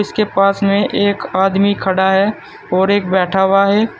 इसके पास में एक आदमी खड़ा है और एक बैठा हुआ है।